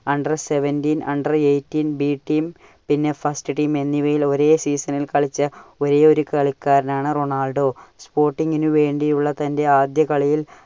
under seventeen, under eighteen B team പിന്നെ first team എന്നിവയിൽ ഒരേ season ൽ കളിച്ച ഒരേയൊരു കളിക്കാരനാണ് റൊണാൾഡോ. sporting ന് വേണ്ടിയുള്ള തന്റെ ആദ്യ കളിയിൽ